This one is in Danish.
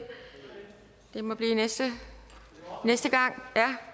det må blive næste gang